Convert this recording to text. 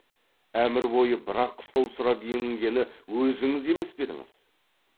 әмір бойы бір ақ қыстау сұрап емінгені өзіңіз емес пе едіңіз